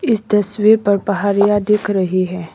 इस तस्वीर पर पहाड़ियां दिख रही हैं।